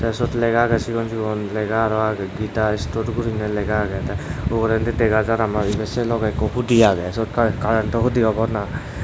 te siyot lega agey sigon sigon lega aro agey gita store guriney lega agey tey ugurendi dega jar ano ibey sei logey ikko hudi agey siyot kar kar karento hudi obo na.